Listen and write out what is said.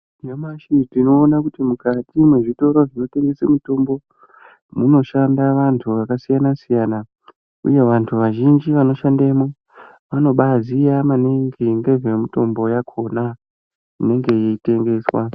Nyamashi tinoona kuti mukati mezvitoro zvinotengese mitombo munoshanda vantu vakasiyana siyana ,uye vantu vazhinji vanoshandemo vanobaaziya maningi ngezvemitombo yakona inenge yeitengeswa .